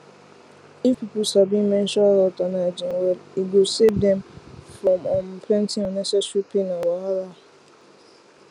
if people sabi menstrual health and hygiene well e go save dem from um plenty unnecessary pain and wahala